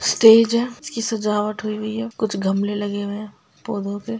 Stage है इसकी सजावट हुई वी है कुछ गमले लगे हुए है पौधों के।